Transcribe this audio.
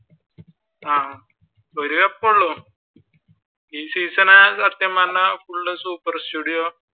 ആഹ് ഒരു കപ്പുള്ളു ഈ സീസൺ സത്യം പറഞ്ഞ full superstudio